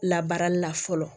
Labaarali la fɔlɔ